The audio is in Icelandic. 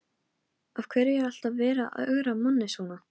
Af hverju er alltaf verið að ögra manni svona?